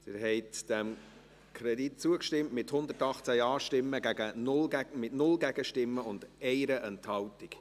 Sie haben diesem Kredit zugestimmt, mit 118 Ja-Stimmen bei 0 Gegenstimmen und 1 Enthaltung.